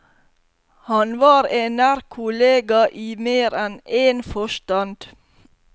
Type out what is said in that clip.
Han var en nær kollega i mer enn én forstand.